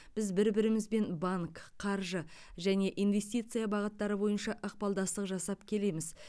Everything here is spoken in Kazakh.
біз бір бірімізбен банк қаржы және инвестиция бағыттары бойынша ықпалдастық жасап келеміз